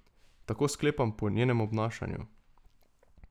Tako sklepam po njenem obnašanju.